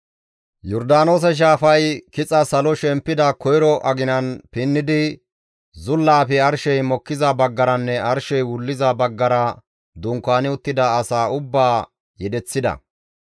Yordaanoose shaafay kixa salo shempida koyro aginan pinnidi zullaafe arshey mokkiza baggaranne arshey wulliza baggara dunkaani uttida asaa ubbaa yedeththida.